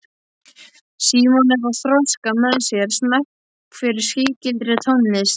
Símon er að þroska með sér smekk fyrir sígildri tónlist.